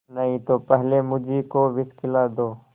नहीं तो पहले मुझी को विष खिला दो